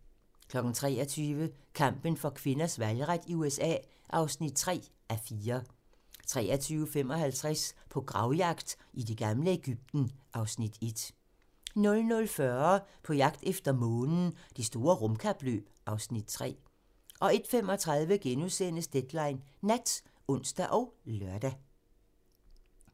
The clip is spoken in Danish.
23:00: Kampen for kvinders valgret i USA (3:4) 23:55: På gravjagt i det gamle Egypten (Afs. 1) 00:40: På jagt efter Månen - Det store rumkapløb (Afs. 3) 01:35: Deadline Nat *(ons og lør)